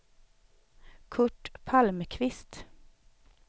Curt Palmqvist